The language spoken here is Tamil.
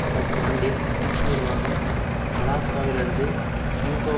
கடந்த ஆண்டில் புஷ் நிர்வாகம் அலாஸ்காவிலிருந்து ப்யூகோ